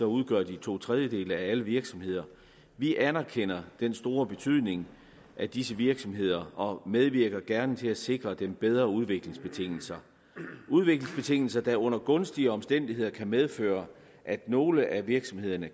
udgør de to tredjedele af alle virksomheder vi anerkender den store betydning af disse virksomheder og medvirker gerne til at sikre dem bedre udviklingsbetingelser udviklingsbetingelser der under gunstige omstændigheder kan medføre at nogle af virksomhederne